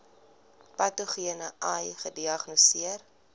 patogene ai gediagnoseer